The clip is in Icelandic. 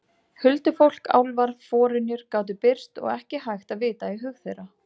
Huldufólk, álfar, forynjur gátu birst og ekki hægt að vita í hug þeirra.